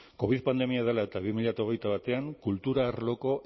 covid pandemia dela eta bi mila hogeita batean kultura arloko